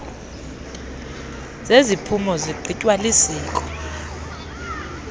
zeziphumo zigqitywa lisiko